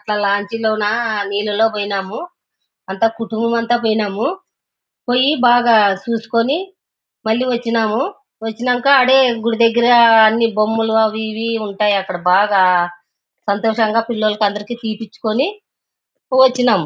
అట్లా లాంచీ లోన నీళ్లలోన పోయిన్నాము. అంత కుటుంబమంతా పోయిన్నాము. పోయి బాగా చూసుకుని మళ్ళీ వచ్చిన్నాము. వచ్చిన్నాక అదే గుడి దగ్గర అన్ని బొమ్మలు అవి ఇవి ఉంటాయి. అక్కడ బాగా సంతోషంగా పిల్లలకు అందరికి తీపిచుకుని వచ్చిన్నామ్.